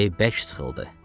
Ürəyi bərk sıxıldı.